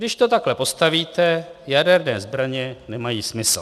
"Když to takhle postavíte, jaderné zbraně nemají smysl."